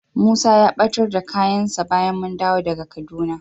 Musa ya ɓatar da kayansa bayan mun dawo daga Kaduna.